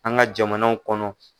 An ka jamanaw kɔnɔ